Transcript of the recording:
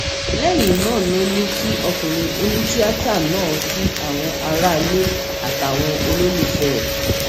lẹyìn náà ló ní kí ọkùnrin onítìátà náà kí àwọn aráalé àtàwọn olólùfẹ ẹ